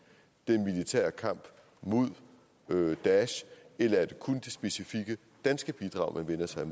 den militære kamp mod daesh eller er det kun de specifikke danske bidrag man vender sig